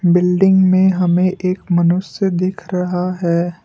Building में हमें एक मनुष्य दिख रहा है।